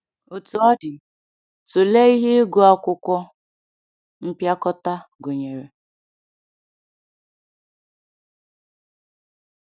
Otú ọ dị, tụlee ihe ịgụ akwụkwọ mpịakọta gụnyere.